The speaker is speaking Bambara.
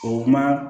O kuma